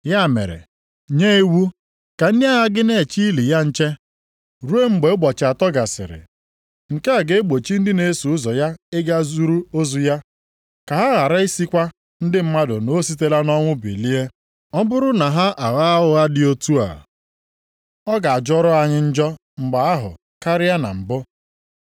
Ya mere, nye iwu ka ndị agha gị na-eche ili ya nche, ruo mgbe ụbọchị atọ gasịrị. Nke a ga-egbochi ndị na-eso ụzọ ya ịga zuru ozu ya. Ka ha ghara ị sịkwa ndị mmadụ na o sitela nʼọnwụ bilie. Ọ bụrụ na ha agha ụgha dị otu a, ọ ga-ajọrọ anyị njọ mgbe ahụ karịa na mbụ.”